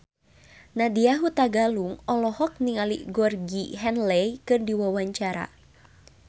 Nadya Hutagalung olohok ningali Georgie Henley keur diwawancara